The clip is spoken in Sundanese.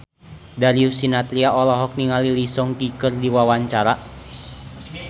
Darius Sinathrya olohok ningali Lee Seung Gi keur diwawancara